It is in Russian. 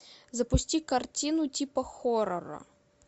запусти картину типа хоррора